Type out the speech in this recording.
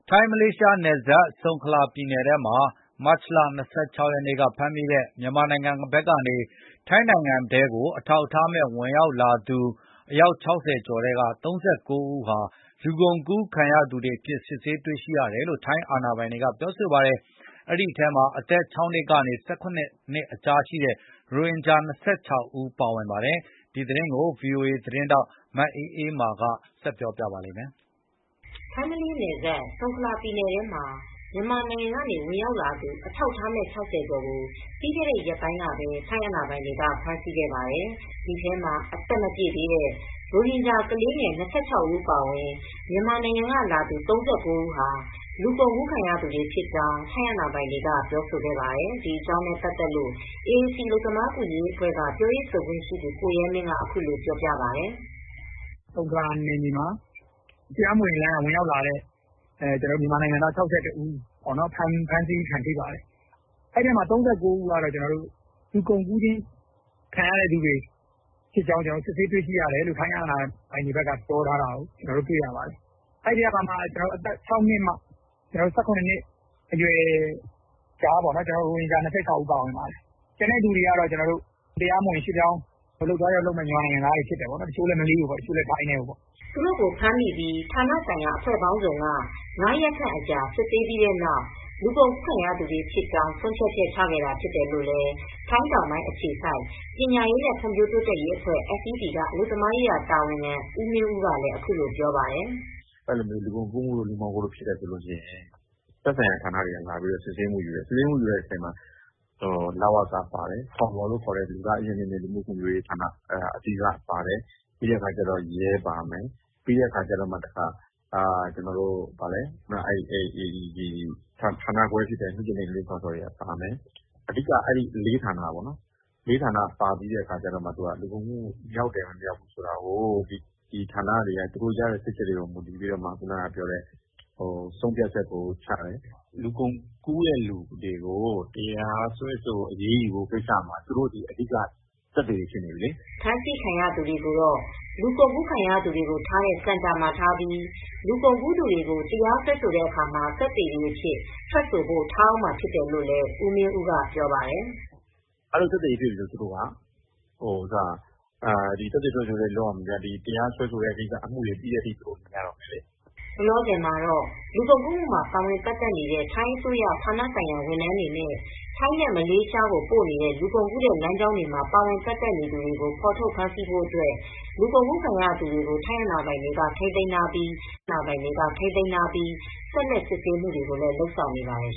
ထိုင်း မလေးရှားနယ်စပ် ဆုံခလာပြည်နယ်ထဲမှာ မတ်လ၂၆ရက်နေ့က ဖမ်းမိတဲ့ မြန်မာနိုင်ငံကနေ ဝင်ရောက်လာသူ အထောက်အထားမဲ့ ၆၀ကျော်ထဲက ၃၉ဦးဟာ လူကုန်ကူးခံရသူတွေအဖြစ် စစ်ဆေးတွေရှိတယ်လို့ ထိုင်းအာဏာပိုင်တွေကဆိုပါတယ်။ ဒီထဲမှာအသက် ၆ နှစ်ကနေ ၁၇နှစ်ကြား ရိုဟင်ဂျာ ၂၆ဦးပါဝင်ပါတယ်။ ဒီသတင်းကီု ဗွီအိုအေ သတင်းထောက်မအေးအေမာ က သတင်းပေးပို့ထားပါတယ်။ ထိုင်း မလေးရှား နယ်စပ် ဆုံခလာပြည်နယ်ထဲမှာ မြန်မာနိုင်ငံကနေဝင်ရောက်လာသူ အထောက်အထားမဲ့ ၆၀ကျော်ကို ပြီးခဲတဲ့ ရက်ပိုင်းကပဲ ထိုင်းအာဏာပိုင်တွေကဖမ်ဆီးခဲ့ပါတယ်။ ဒီထဲမှာ အသက်မပြည့်သေးတဲ့ ရိုဟင်ဂျာကလေးငယ် ၂၆ဦးအပါအဝင် မြန်မာနိုင်ငံက လာသူ ၃၉ဦးဟာ လူကုန်ကူးခံရသူတွေဖြစ်ကြောင်း ထိုင်းအာဏာပိုင်တွေက ပြောဆိုခဲ့ပါတယ်။ ဒီအကြောင်းနဲ့ပတ်သက်လို AAC အလုပ်သမားကူညီရေးအဖွဲက ပြောရေးဆိုခွင့်ရှိသူကိုရဲမင်း က အခုလိုပြောပါတယ်။ "ဆုံခလာနယ်မြေမှာ မြန်မာနိုင်ငံသား ၆၁ဦးဖမ်းဆီးခံရပါတယ်။ အဲဒီထဲက ၃၉ဦးကတော့ လူကုန်ကူးခံရတဲ့ အကြောင်းစစ်ဆေးတွေ့ရှိတယ်လို့ ထိုင်းအာဏာပိုင်တွေကပြောထားပါတယ်။ အဲဒီကမှ အသက်၆နှစ်ကနေ့ ၁၇နှစ်ကြားရိုဟင်ဂျာ ၂၆ဦးပါတယ်။ ကျန်တာကတော့ အလုပ်သွားလုပ်ကြမယ့် တရားမဝင် ရွှေပြောင်းမြန်မာနိုင်ငံသားတွေပါတယ်။ တချိုကတော့ ထိုင်းထဲကို တချို့လည်း မလေးရှားကိုပေါ့ " သူတို့ကို ဖမ်းမိပြီး ဌာနဆိုင်ရာအဖွဲ့ပေါင်းစုံက ၅ရက်ခန့် အကြာစစ်ဆေးပြီးတဲ့နောက် လူကုန်ကူးခံရသူတွေဖြစ်ကြောင်း ဆုံးဖြတ်ချက်ချခဲ့တာဖြစ်တယ်လို့လည်း ထိုင်းတောင်ပိုင်း အခြေစိုက် ပညာရေးနဲ့ ဖွံဖြိုးတိုးတက်ရေးအဖွဲ FED က အလုပ်သမားရေးရာတာဝန်ခံဦးမင်းဦးလည်းပြောပါတယ်။ " လူကုန်ကူးတို့ လူမှောင်ခိုတို့ ဖြစ်ပြီဆိုရင် သက်ဆိုင်ရာဌာနတွေက လာပြီးစစ်ဆေးမူ့ယူတယ်။ စစ်ဆေးမူယူတဲ့အချိန်မှာ လဝက ပါတယ်။ ဖောမောလို့ ခေါ်တဲ့ လူသားအရင်းအမြစ်နဲ့ လူမူ့ဖွံဖြိုးရေးဌာန၊ ပြီးတော့ရဲပါမယ်။ ပြီးတော့ ဌာနခွဲဖြစ်တဲ့ မိခင်နဲ့ကလေးစောင့်ရှောက်ရေးဌာနပါမယ်။ အဲဒီက ၄ ဌာနပါပြီးတော့မှ လူကုန်ကူးမူ့မြောက်တယ်မမြောက်ဘူးဆိုတာကိုတော့ အဲဒီဌာနတွေက သူတို့ရဲ့စစ်ဆေးချက်ကိုရယူပြီးမှ ဆုံဖြတ်ချက်ကိုချတယ် " ဖမ်းဆီးခံရသူတွေကိုတော့ လူကုန်ကူခံရသူတွေကို ထားတဲ့စင်တာမှာထားပြီး လူကုန်ကူးသူတွေကို တရားစွဲဆိုတဲ့အခါမှာ သက်သေတွေအဖြစ် ထွက်ဆိုဖို့ ထားအုန်းမှာဖြစ်တယ်လို့လည်း ဦးမင်းဦးကပြောပါတယ်။ " လူကုန်ကူးတဲ့သူတွေကို တရားစွဲဆိုအရေးယူတဲ့ကိစ္စမှာ သူတို့ကသက်သေတွေဖြစ်နေပြီလေ။ သက်သေထွက်ဆိုချက်တွေလုပ်ရတော့မယ် ။ တရာစွဲဆိုပြီးတဲ့ကိစ္စ အမူတွေပြီးတဲ့အထိ သူတို့နေရတော့မယ်" လောလောဆယ်မှာတော့ လူကုန်ကူးမူ့မှ ာပါဝင်ပတ်သက်နေတဲ့ ထိုင်းအစိုးရ ဌာနဆိုင်ရာဝန်ထမ်းတွေနဲ့ ထိုင်းနဲ့မလေးရှားကိုပို့နေတဲ့လူကုန်ကူးတဲ့လမ်းကြောင်းမှာ ပါဝင်ပတ်သက်နေသူတွေကို ဖော်ထုတ်ဖမ်းဆီးဖို့အတွက် လူကုန်ကူးခံရသူတွေကို ထိုင်းအာဏာပိုင်တွေကထိမ်းသိမ်းထားပြီး ဆက်လက်စစ်ဆေးမူတွေကို လုပ်ဆောင်နေပါတယ်